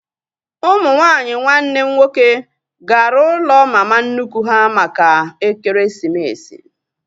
Ụmụ nwaanyị nwanne m nwoke gara ụlọ mma mama nnukwu ha maka ekeresimesi